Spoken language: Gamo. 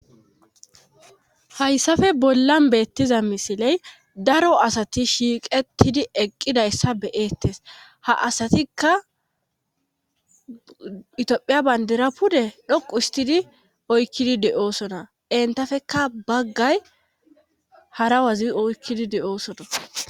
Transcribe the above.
hayssafe bollan beettiza misiley daro asati shiiqettidi eqqidayssa be7eettes ha asatikka itophiya bandira pude dhoqu istidi oykkidi de7oosona entafeka baggay hara wazi oykkidi de7oosona.